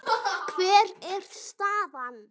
Hver er staðan?